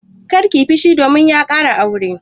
Kar ka yi fushi domin ya ƙara aure!